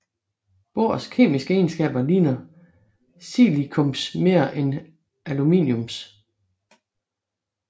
Bors kemiske egenskaber ligner siliciums mere end aluminiums